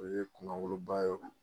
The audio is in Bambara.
O ye kunawoloba ye